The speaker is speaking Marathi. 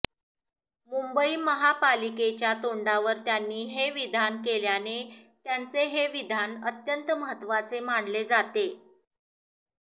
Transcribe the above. मुंबई महापालिकेच्या तोंडावर त्यांनी हे विधान केल्याने त्यांचे हे विधान अत्यंत महत्त्वाचे मानले जाते